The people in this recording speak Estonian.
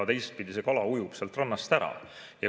Teistpidi, see kala ujub sealt rannast ära.